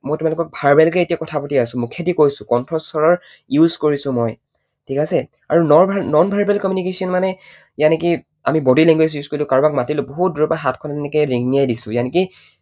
মই তোমালোকক verbal কে এতিয়া কথা পাতি আছো, মুখেদি কৈছো, কণ্ঠস্বৰৰ use কৰিছো মই, ঠিক আছে? আৰু non verbal communication মানে আমি body language use কৰিলো কাৰোবাক মাতিলো বহু দূৰৰ পৰা হাত খন এনেকৈ ৰিঙিয়াই দিছো